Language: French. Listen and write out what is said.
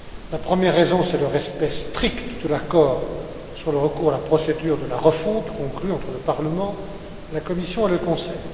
La première raison, c'est le respect strict de l'accord sur le recours à la procédure de la refonte conclu entre le Parlement, la Commission et le Conseil.